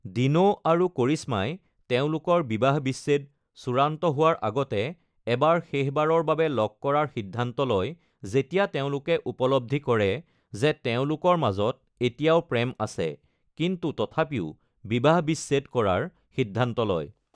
Dino আৰু কৰিশ্মাই তেওঁলোকৰ বিবাহ-বিচ্ছেদ চূড়ান্ত হোৱাৰ আগতে এবাৰ শেষবাৰৰ বাবে লগ কৰাৰ সিদ্ধান্ত লয়, যেতিয়া তেওঁলোকে উপলব্ধি কৰে যে তেওঁলোকৰ মাজত এতিয়াও প্ৰেম আছে কিন্তু তথাপিও বিবাহ-বিচ্ছেদ কৰাৰ সিদ্ধান্ত লয়।